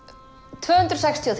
tvö hundruð sextugustu